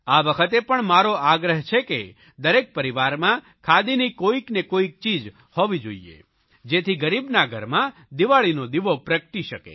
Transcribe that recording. આ વખતે પણ મારો આગ્રહ છે કે દરેક પરિવારમાં ખાદીની કોઇક ને કોઇક ચીજ હોવી જોઇએ જેથી ગરીબના ઘરમાં દિવાળીનો દીવો પ્રગટી શકે